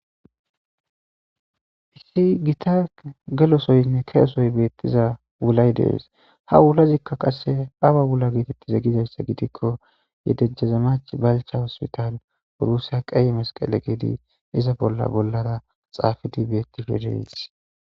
Issi gita gelosoyinne keesoy beettiza wulay dees ha wulazikka qasse aba wula geetettize gizayssa gidikko yedejjaza mach balcha hospital urusya qeeye masqale geedi iza bolla bollara xaafidi beetti fedeys.